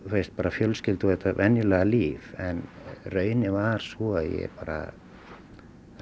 fjölskyldu og þetta venjulega líf en raunin varð sú að